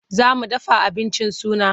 Za mu dafa abincin suna.